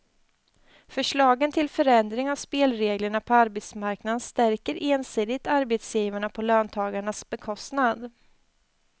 Förslagen till förändring av spelreglerna på arbetsmarknaden stärker ensidigt arbetsgivarna på löntagarnas bekostnad.